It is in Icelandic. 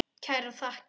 Kærar þakkir